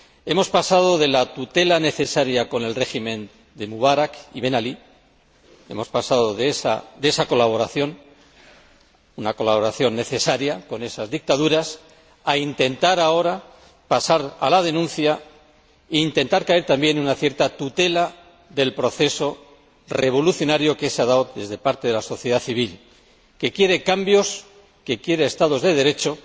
Hemos pasado de la tutela necesaria con los regímenes de Mubarak y Ben Alí, de esa colaboración —una colaboración necesaria con esas dictaduras—, a intentar ahora pasar a la denuncia e intentar caer también en una cierta tutela del proceso revolucionario que se ha dado desde parte de la sociedad civil, que quiere cambios y Estados de Derecho.